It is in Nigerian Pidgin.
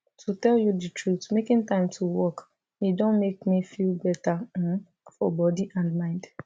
to tell you the truth making time to walk e don make me feel better um for body and mind